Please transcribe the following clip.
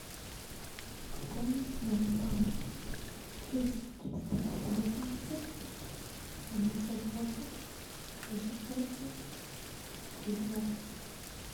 пополнить номер бабушки плюс триста восемьдесят семьдесят восемь три шестерки две девятки